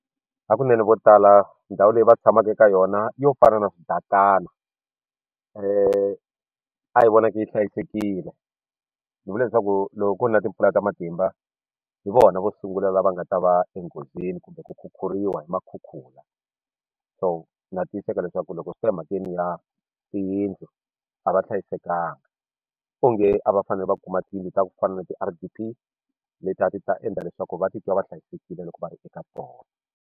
Ha kunene vo tala ndhawu leyi va tshamaka eka yona yo fana na swibatana a yi vonaki yi hlayisekile ni vula leswaku loko ku ri na timpfula ta matimba hi vona vo sungula lava nga ta va enghozini kumbe ku khukhuriwa hi makhukhula so na tiyiseka leswaku loko swi ta emhakeni ya tiyindlu a va hlayisekanga onge a va fanele va kuma tiyindlu ta ku fana na ti-R_D_P leti a ti ta endla leswaku va titwa va hlayisekile loko va ri eka tona.